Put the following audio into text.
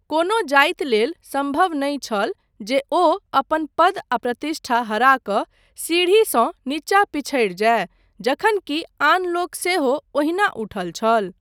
कोनो जाति लेल सम्भव नहि छल जे ओ अपन पद आ प्रतिष्ठा हरा कऽ सीढ़ीसँ नीचा पिछड़ि जाय जखन कि आन लोक सेहो ओहिना उठल छल।